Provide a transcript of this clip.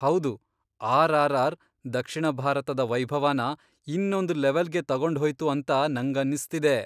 ಹೌದು, ಆರ್.ಆರ್.ಆರ್. ದಕ್ಷಿಣ ಭಾರತದ ವೈಭವನ ಇನ್ನೊಂದ್ ಲೆವಲ್ಗೆ ತಗೊಂಡ್ಹೋಯ್ತು ಅಂತ ನಂಗನ್ಸ್ತಿದೆ.